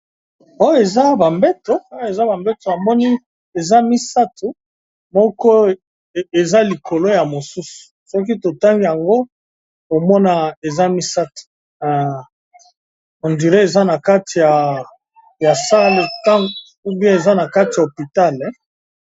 Oyo eza ba mbeto, awa eza ba mbetu. Na moni eza misato. Moko eza likolo ya mosusu. Soki totangi yango, omona eza misato. Odure eza na kati ya sale, ou bien eza na kati ya hopitale.